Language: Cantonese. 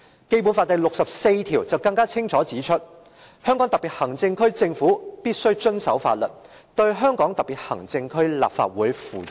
"《基本法》第六十四條更清楚指出："香港特別行政區政府必須遵守法律，對香港特別行政區立法會負責"。